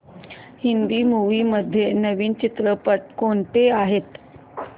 Hindi movies मध्ये नवीन चित्रपट कोणते आहेत